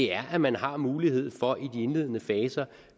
er at man har mulighed for i de indledende faser